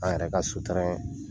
An yɛrɛ ka sutura yen.